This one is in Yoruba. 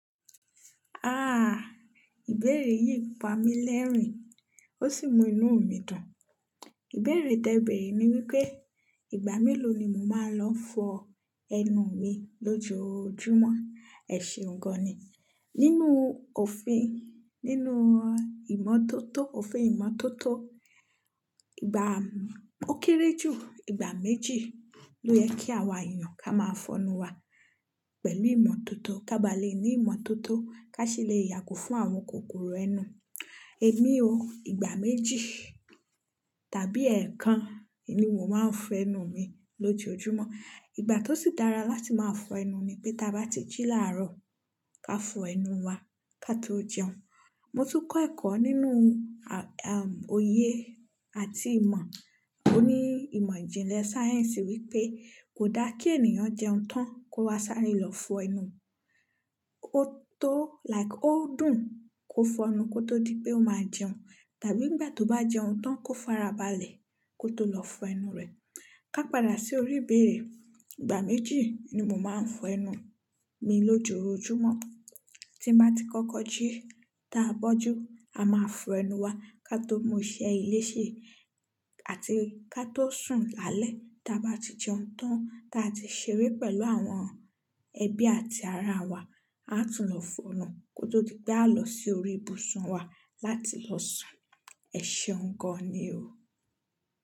Ah! Ìbéèrè yìí pa mí lẹ́rìn, ó sì mú inuú mi dùn. Ìbéèrè tẹ bẹ̀rẹ̀ ní wípé, ìgbà méló ni mo máa ń lọ fọ ẹnu mi lójoójúmọ́? Ẹ ṣeun gan ni. Nínúu òfin, nínuú ìmọ́tótó, òfin ìmọ́tótó, ìgbà ó kéré jù ìgbà méjì ló yẹ kí àwa èèyàn ká máa fọnu wa pẹ̀lú ìmọ́tótó. Ka ba leè ní ìmọ́tótó, ká sì le yàgò fún àwọn kòkòrò ẹnu. Èmi o, ìgbà méjì tàbí ẹ̀ẹ̀kan ni mo máa ń fọ ẹnu mi lójoójúmọ́. Ìgbà tó sì dára láti máa fọ ẹnu ni pé tí a bá ti jí láàárọ̀ ká fọ ẹnu wa ká tó jẹun. Mo tún kọ́ ẹ̀kọ́ nínú, ah ahm, oyè àti ìmọ̀ oní ìmọ̀ ìjìnlẹ̀ sáyẹ̀nsì wípé kò dá kí ènìyàn jẹun tán kó wá sare lọ fọ ẹnu. Ó tó, like ó dùn kó fọ ẹnu kó tó di pé ó máa jẹun. Tàbí nìgbà tó bá jẹun tán kó fara balẹ̀ kó tó lọ fọ ẹnu rẹ̀. Ka padà sí orí ìbéèrè, ìgbà méjì ni mo máa ń fọ ẹnu mi lójoójúmọ́. Tí bá ti kọ́kọ́ jí, táa bọ́jú, a máa fọ ẹnu wa ká tó mú iṣẹ́ ilé ṣe àti ká tó sùn lálẹ́. Ta bá ti jẹun tán, táa ti ṣeré pẹ̀lú àwọn ẹbí àti aráa wa, a tún lọ fọnu kó tó di pé a lọ sí orí ibùsùn wa láti lọ sùn. Ẹ ṣeuń gan-an ni o.